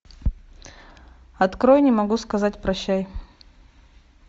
открой не могу сказать прощай